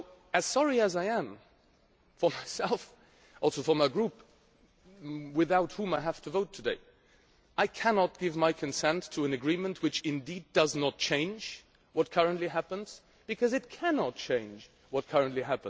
As sorry as I am for myself and also for my group, without whom I have to vote today I cannot give my consent to an agreement which does not change what currently happens because it cannot do so.